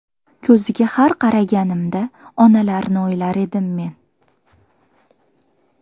Ko‘ziga har qaraganimda Onalarni o‘ylar edim men.